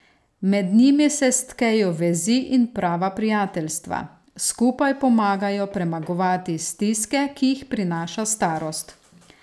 Med njimi se stkejo vezi in prava prijateljstva, skupaj pomagajo premagovati stiske, ki jih prinaša starost.